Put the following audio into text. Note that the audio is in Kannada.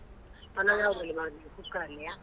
ಪಲಾವ್ ಯಾವುದ್ರಲ್ಲಿ ಮಾಡುದು? cooker ಅಲ್ಲಿಯಾ?